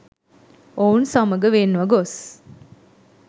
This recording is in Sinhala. ඔවුන් සමග වෙන්ව ගොස්